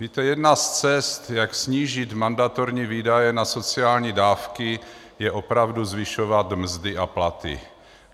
Víte, jedna z cest, jak snížit mandatorní výdaje na sociální dávky, je opravdu zvyšovat mzdy a platy.